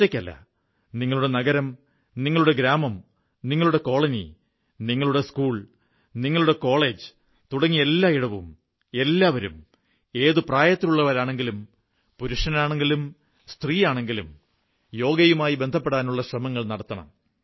ഒറ്റയ്ക്കല്ല നിങ്ങളുടെ നഗരം നിങ്ങളുടെ ഗ്രാമം നിങ്ങളുടെ കോളനി നിങ്ങളുടെ സ്കൂൾ നിങ്ങളുടെ കോളജ് തുടങ്ങി എല്ലായിടവും എല്ലാവരും ഏതു പ്രായത്തിലുള്ളവരാണെങ്കിലും പുരുഷനാണെങ്കിലും സ്ത്രീയാണെങ്കിലും യോഗയുമായി ബന്ധപ്പെടാനുള്ള ശ്രമങ്ങൾ നടത്തണം